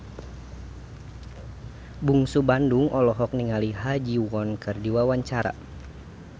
Bungsu Bandung olohok ningali Ha Ji Won keur diwawancara